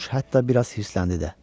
Corc hətta biraz hirsləndi də.